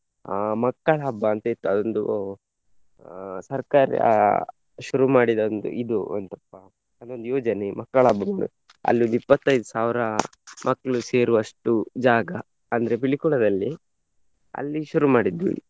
ಅಹ್ ಮಕ್ಕಳ ಹಬ್ಬ ಅಂತ ಇತ್ತು ಅದೊಂದು ಅಹ್ ಸರ್ಕಾರ ಶುರು ಮಾಡಿದ ಒಂದು ಇದು ಎಂತಪ್ಪ ಅದೊಂದು ಯೋಜನೆ ಮಕ್ಕಳ ಅಲ್ಲಿದ್ದು ಇಪ್ಪತ್ತೈದು ಸಾವಿರ ಮಕ್ಳು ಸೇರುವಷ್ಟು ಜಾಗ ಅಂದ್ರೆ ಪಿಲಿಕುಳದಲ್ಲಿ ಅಲ್ಲಿ ಶುರು ಮಾಡಿದ್ವಿ.